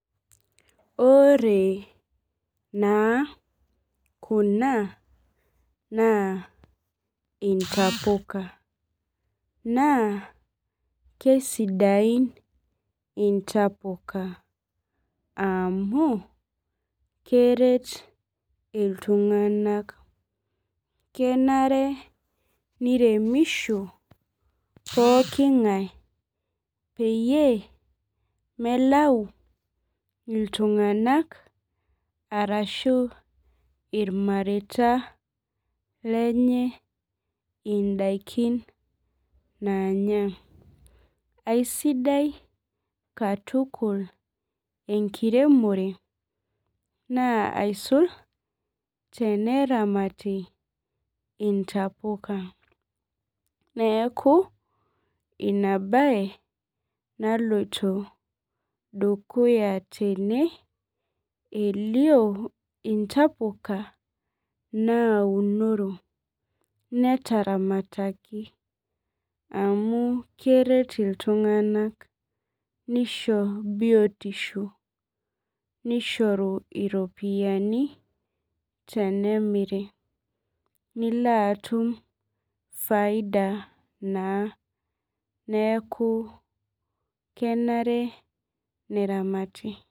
Ore naa kuna naa intapuka naa keisidai intapuka amu keret iltung'anak kenare neiremisho pooki ng'ae peyie melau iltung'anak arashu ilmareita lenye indaikin naanya aisidai katukul enkiremore naa aisul teneramati intapuka neaku ina bae naloito dukuya tene ilio intapuka naunoro neteramataki amu keret itung'anak neisho biotisho neishoru iropiyiani tenemiri nilo atum faida naa neaku kenare neramati